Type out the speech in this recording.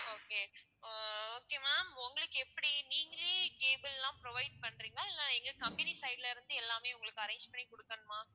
okay ah okay ma'am உங்களுக்கு எப்படி நீங்களே cable எல்லாம் provide பண்றீங்களா இல்ல எங்க company side ல இருந்து எல்லாமே உங்களுக்கு arrange பண்ணி குடுக்கணுமா?